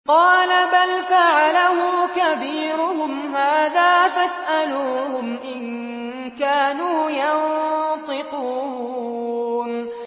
قَالَ بَلْ فَعَلَهُ كَبِيرُهُمْ هَٰذَا فَاسْأَلُوهُمْ إِن كَانُوا يَنطِقُونَ